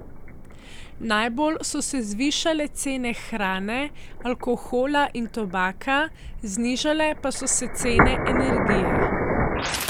Najbolj so se zvišale cene hrane, alkohola in tobaka, znižale pa so se cene energije.